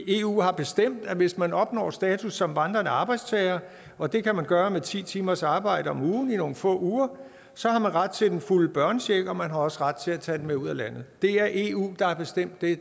eu har bestemt at hvis man opnår status som vandrende arbejdstager og det kan man gøre med ti timers arbejde om ugen i nogle få uger så har man ret til den fulde børnecheck og man har også ret til at tage den med ud af landet det er eu der har bestemt det